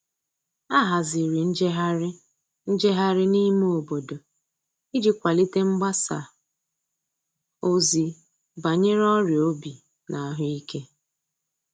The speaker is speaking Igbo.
A haziri njeghari njeghari n'ime obodo iji kwalite mgbasa ozi banyere ọria obi na ahuike